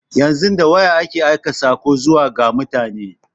Yanzu da waya ake aika saƙo zuwa ga mutane.